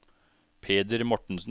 Peder Mortensen